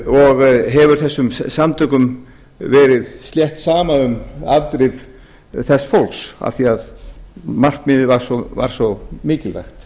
og hefur þessum samtökum verið slengt saman um afdrif þess fólks af því að markmiðið var svo mikilvægt